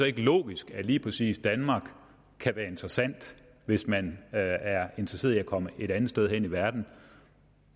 ikke logisk at lige præcis danmark kan være interessant hvis man er interesseret i at komme et andet sted hen i verden